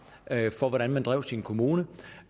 for hvordan man drev sin kommune